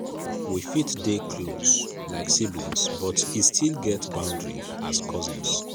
we fit dey close like siblings but e still get boundary as cousins.